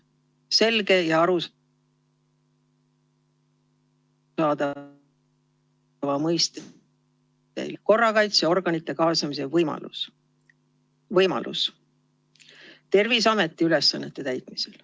Selge ja arusaadav ...... korrakaitseorganite kaasamise võimalus Terviseameti ülesannete täitmisel.